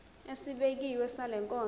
esibekiwe sale nkonzo